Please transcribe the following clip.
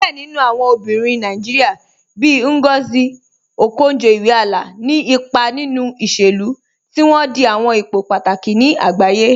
Diẹ̀ nínu awọn obìnrin Nàìjíríà, bíì Ngozi Okonjo-Iweala, ní ìpà nínu ìṣẹ̀lú, tí wọn dì àwọn ìpò pátàkì ní àgbàyé.